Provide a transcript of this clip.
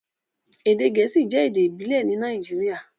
Èdè Gẹẹsi jẹ̀ èdè ìbílẹ̀ ní Nàìjíríà,